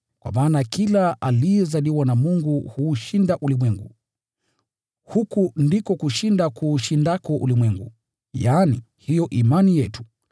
Kwa maana kila aliyezaliwa na Mungu huushinda ulimwengu. Huku ndiko kushinda kuushindako ulimwengu, yaani, hiyo imani yetu.